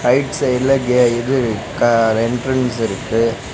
Right சைடுல கே இது க என்ட்ரன்ஸ் இருக்கு.